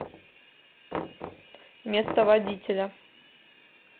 место водителя